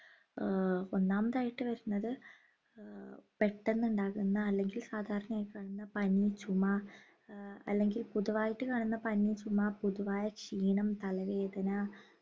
ഏർ ഒന്നാമതായിട്ട് വരുന്നത് ഏർ പെട്ടെന്നുണ്ടാകുന്ന അല്ലെങ്കിൽ സാധാരണയായി കാണുന്ന പനി ചുമ ഏർ അല്ലെങ്കിൽ പൊതുവായിട്ട് കാണുന്ന പനി ചുമ പൊതുവായ ക്ഷീണം തലവേദന